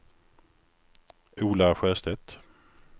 Ola Sjöstedt